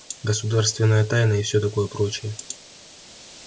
государственная тайна и всё такое прочее